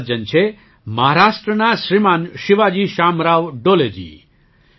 આ સજ્જન છે મહારાષ્ટ્રના શ્રીમાન શિવાજી શામરાવ ડોલેજી